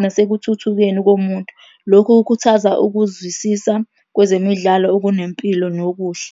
nasekuthuthukeni komuntu. Lokhu kukhuthaza ukuzwisisa kwezemidlalo okunempilo nokuhle.